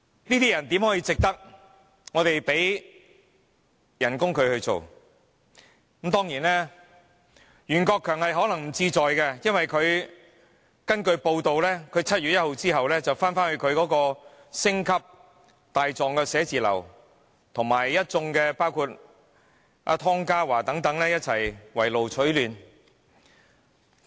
這種人怎值得我們支付薪酬，當然袁國強可能不在乎，因為根據報道，他在7月1日之後便會重回他的星級大狀寫字樓，以及與包括湯家驊等一眾圍爐取暖。